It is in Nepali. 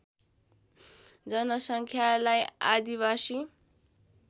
जनसङ्ख्यालाई आदिवासी